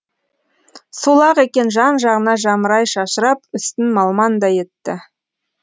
сол ақ екен жан жағына жамырай шашырап үстін малмандай етті